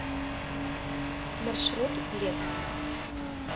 маршрут блеск